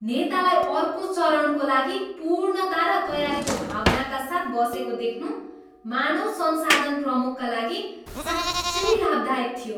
नेतालाई अर्को चरणको लागि पूर्णता र तयारीको भावनाका साथ बसेको देख्नु मानव संसाधन प्रमुखका लागि साँच्चै लाभदायक थियो।